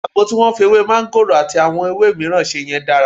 Àgbo tí wọ́n fi ewé máńgòrò àti àwọn ewé mìíràn ṣe yẹn dára.